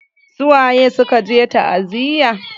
Su waye suka je ta'aziyar?